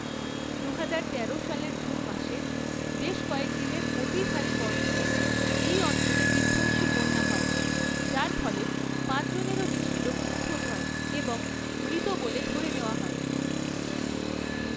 দুহাজার তেরো সালের জুন মাসে, বেশ কয়েকদিনের অতি ভারী বর্ষণে এই অঞ্চলে বিধ্বংসী বন্যা হয়, যার ফলে পাঁচ জনেরও বেশি লোক নিখোঁজ হয় এবং মৃত বলে ধরে নেওয়া হয়।